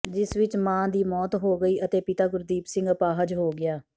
ਜਿਸ ਵਿੱਚ ਮਾਂ ਦੀ ਮੌਤ ਹੋ ਗਈ ਅਤੇ ਪਿਤਾ ਗੁਰਦੀਪ ਸਿੰਘ ਅਪਾਹਜ ਹੋ ਗਿਆ